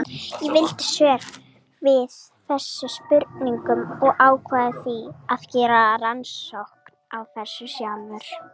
Ég vildi svör við þessum spurningum og ákvað því að gera rannsókn á þessu sjálfur.